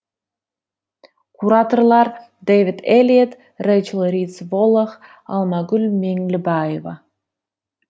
кураторлар дэвид эллиотт рейчил ритс воллох алмагүл меңлібаева